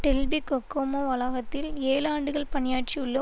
Delphi Kokomo வளாகத்தில் ஏழு ஆண்டுகள் பணியாற்றியுள்ள